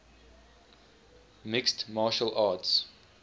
mixed martial arts